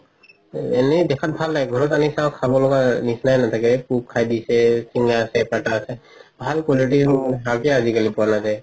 এনে দেখাত ভাল লাগে ঘৰত আনি চাও খাব লগা নিচিনাই নাথাকে পোক খাই দিছে চিঙা আছে ফাতা আছে ভাল quality শাকে আজিকালি পোৱা নাজাই